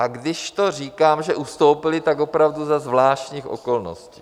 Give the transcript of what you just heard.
A když to říkám, že ustoupili, tak opravdu za zvláštních okolností.